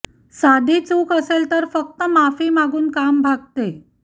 साधी चूक असेल तर फक्त माफी मागून काम भागते